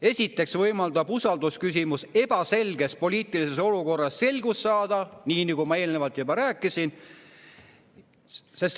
Esiteks võimaldab usaldusküsimus ebaselges poliitilises olukorras selgust saada, nagu ma juba rääkisin.